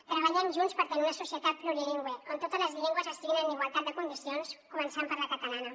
treballem junts per tenir una societat plurilingüe on totes les llengües estiguin en igualtat de condicions començant per la catalana